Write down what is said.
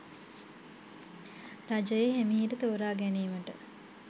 රජය හෙමිහිට තෝරාගැනීමට